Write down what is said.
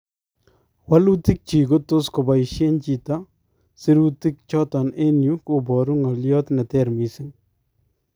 Walutik chik kotos kobaisyeen chito sirutiik choton en yuu koboruu ng'olyoot neteer missing